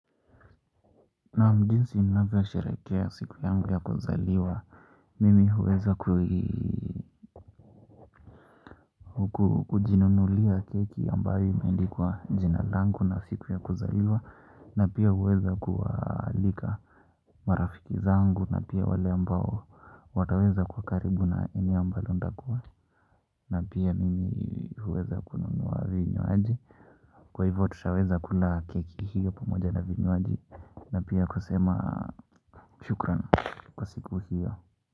Naam, jinsi ninavyosherehekea siku yangu ya kuzaliwa. Mimi huweza kuhi huku kujinunulia keki ambayo imeandikwa jina langu na siku ya kuzaliwa na pia huweza kuwaalika marafiki zangu na pia wale ambao wataweza kuwa karibu na eneo ambayo nitakuwa na pia mimi huweza kununua vinywaji. Kwa hivyo tutaweza kula keki hiyo pamoja na vinywaji na pia kusema shukran kwa siku hiyo.